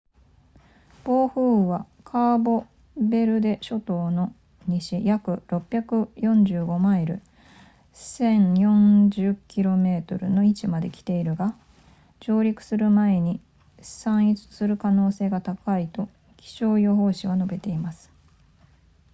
暴風雨は、カーボベルデ諸島の西約645マイル1040 km の位置まで来ているが、上陸する前に散逸する可能性が高いと気象予報士は述べています